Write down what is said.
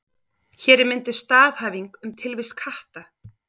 Hér er mynduð staðhæfing um tilvist katta.